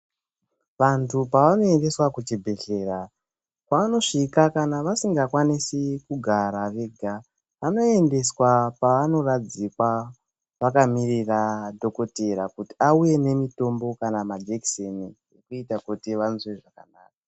Vandu pavano endeswa kuchibhedhlera vachisvika kana vasinga kwanisi kugara vega vano endeswa pavano radzikwa vakamirira dhokoteya auye nemitombo kana majekiseni kuti anzwe zvakanaka.